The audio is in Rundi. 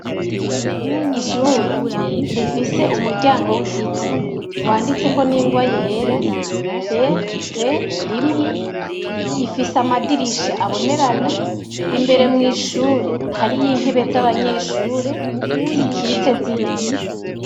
Ishure rifise umuryango w' igiti, wanditseko n' ingwa yera BV1, ifise amadirisha abonerana, imbere mw' ishure hariyo intebe z' abanyeshure zikitse z' ibiti.